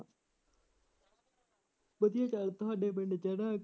ਵਧੀਆ ਪਿਆਰ ਤੁਹਾਡਾ ਪਿੰਡ